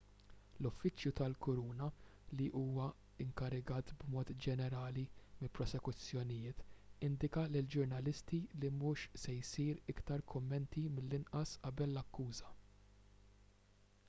l-uffiċċju tal-kuruna li huwa inkarigat b'mod ġenerali mill-prosekuzzjonijiet indika lill-ġurnalisti li mhux se jsiru iktar kummenti mill-inqas qabel l-akkuża